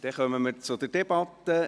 Dann kommen wir zur Debatte.